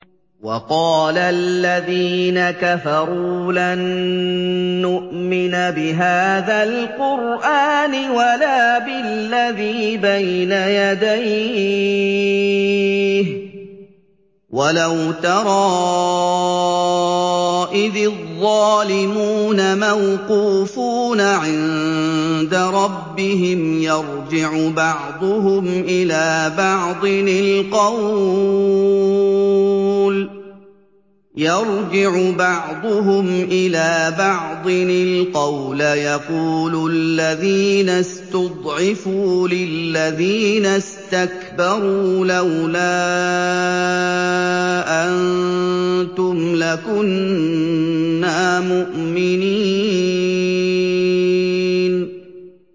وَقَالَ الَّذِينَ كَفَرُوا لَن نُّؤْمِنَ بِهَٰذَا الْقُرْآنِ وَلَا بِالَّذِي بَيْنَ يَدَيْهِ ۗ وَلَوْ تَرَىٰ إِذِ الظَّالِمُونَ مَوْقُوفُونَ عِندَ رَبِّهِمْ يَرْجِعُ بَعْضُهُمْ إِلَىٰ بَعْضٍ الْقَوْلَ يَقُولُ الَّذِينَ اسْتُضْعِفُوا لِلَّذِينَ اسْتَكْبَرُوا لَوْلَا أَنتُمْ لَكُنَّا مُؤْمِنِينَ